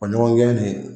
O ɲɔgɔn gɛn de